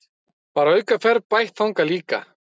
Var aukaferð bætt þangað líka